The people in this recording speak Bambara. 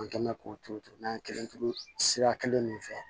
An kɛn mɛ k'o turu turu n'an kelen turu sira kelen de fɛ